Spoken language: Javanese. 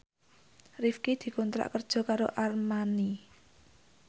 Rifqi dikontrak kerja karo Armani